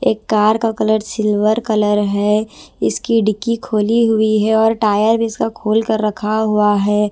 एक कार का colour silver colour है इसकी डिक्की खोली हुई है और टायर भी इसका खोल कर रखा हुआ है।